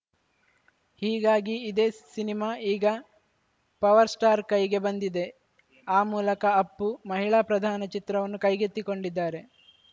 ಹೀಗಾಗಿ ಇದೇ ಸಿನಿಮಾ ಈಗ ಪವರ್‌ಸ್ಟಾರ್‌ ಕೈಗೆ ಬಂದಿದೆ ಆ ಮೂಲಕ ಅಪ್ಪು ಮಹಿಳಾ ಪ್ರಧಾನ ಚಿತ್ರವನ್ನು ಕೈಗೆತ್ತಿಕೊಂಡಿದ್ದಾರೆ